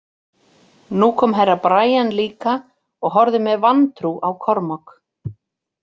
Nú kom Herra Brian líka og horfði með vantrú á Kormák.